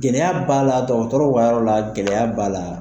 Gɛlɛya b'a la dɔgɔtɔrɔw ka yɔrɔ la gɛlɛya b'a la.